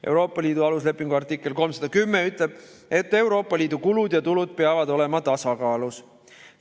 Euroopa Liidu aluslepingu artikkel 310 ütleb, et Euroopa Liidu kulud ja tulud peavad olema tasakaalus.